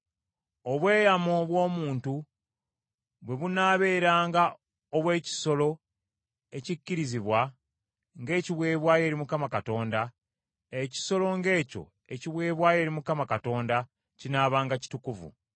“Obweyamo bw’omuntu bwe bunaabeeranga obw’ekisolo ekikkirizibwa ng’ekiweebwayo eri Mukama Katonda, ekisolo ng’ekyo ekiweebwayo eri Mukama Katonda kinaabanga kitukuvu.